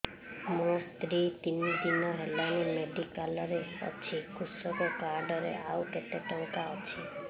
ମୋ ସ୍ତ୍ରୀ ତିନି ଦିନ ହେଲାଣି ମେଡିକାଲ ରେ ଅଛି କୃଷକ କାର୍ଡ ରେ ଆଉ କେତେ ଟଙ୍କା ଅଛି